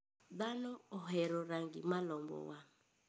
Dhano ohero rangi ma lombo wang'.